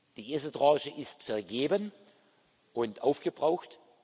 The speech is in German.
Die erste Tranche ist vergeben und aufgebraucht.